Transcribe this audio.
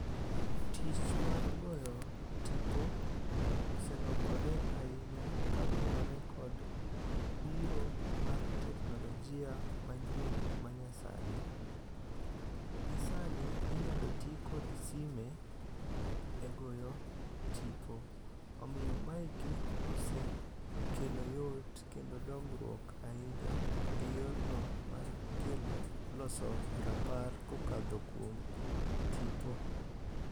Tich mar goyo tipo oselokore ahinya kaluwore kod biro mar teknolojia manyien ma nyasani. Gisani inyalo ti kod sime e goyo tipo. Omiyo maeki osekelo yot kendo dongruok ahinya ei yorno mar kelo loso rapar kokadho kuom tipo.